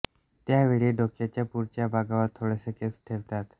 त्या वेळी डोक्याच्या पुढच्या भागावर थोडेसे केस ठेवतात